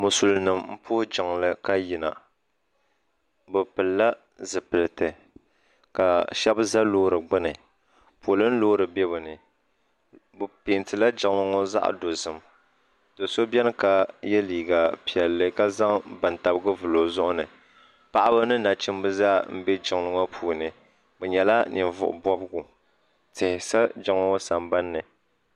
Musulin nima m puhi jiŋli ka yina bɛ pilla zipilti ka sheba za loori gbini polin loori be bɛni bɛ pentila jiŋli ŋɔ zaɣa dozim doso biɛni ka ye liiga piɛlli ka zaŋ bantabiga vili o zuɣuni paɣaba ni nachimba zaa m be jiŋli ŋɔ puuni bɛ nyɛla nivuɣu bobigu tihi sa jiŋli ŋɔ sambanni.